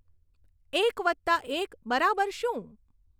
એક વત્તા એક બરાબર શું